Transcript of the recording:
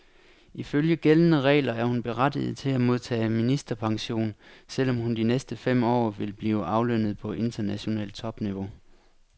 Ifølge gældende regler er hun berettiget til at modtage ministerpension, selv om hun de næste fem år vil blive aflønnet på internationalt topniveau.